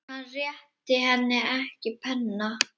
Hann réttir henni ekki penna.